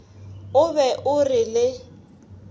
o be o re le